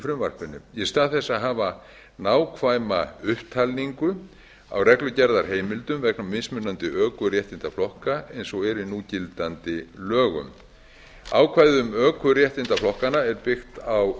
frumvarpinu í stað þess að hafa nákvæma upptalningu á reglugerðarheimildum vegna mismunandi ökuréttindaflokka eins og er í núgildandi lögum ákvæðið um ökuréttindaflokkana er byggt á